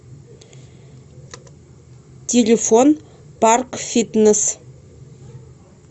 телефон паркфитнесс